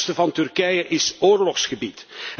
Het zuidoosten van Turkije is oorlogsgebied.